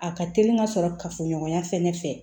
A ka teli ka sɔrɔ kafoɲɔgɔnya fɛnɛ fɛ